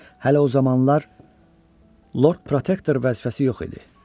Hələ o zamanlar Lord Protektor vəzifəsi yox idi.